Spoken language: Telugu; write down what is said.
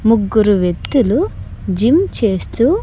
ముగ్గురు వ్యక్తులు జిమ్ చేస్తూ.